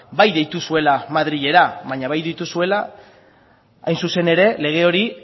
bai deitu zuela madrilera baina bai deitu zuela hain zuzen ere lege hori